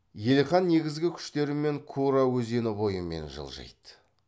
елхан негізгі күштерімен кура өзені бойымен жылжиды